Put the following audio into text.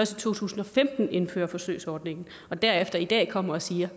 to tusind og femten indfører forsøgsordningen og derefter i dag kommer og siger